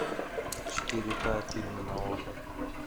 четыре ка фильмы на окко